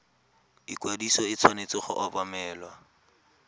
ikwadiso e tshwanetse go obamelwa